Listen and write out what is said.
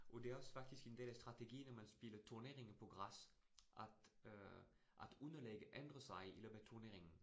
Og det også faktisk en del af strategien, at man spiller turneringer på græs, at øh at underlaget ændrer sig i løbet af turneringen